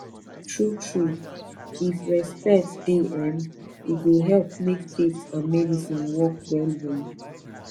true true if respect dey em e go help make faith and medicine work well well